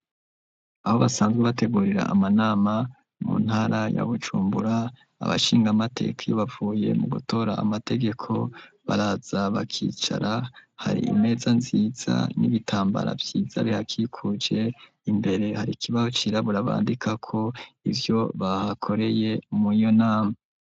Aho basanzwe bategurira amanama, mu ntara ya Bujumbura, abashingamateka iyo bavuye mu gutora amategeko, baraza bakicara, hari imeza nziza n'ibitambara vyiza bihakikuje, imbere hari ikibaho cirabura bandikako ivyo bahakoreye muriyo nama.